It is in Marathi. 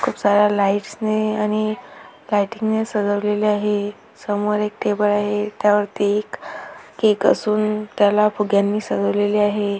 खूप साऱ्या लाईटस ने आणी लाईटिंग ने सजवलेले आहे समोर एक टेबल आहे त्यावरती एक केक असून त्याला फुग्यांनी सजवलेले आहे.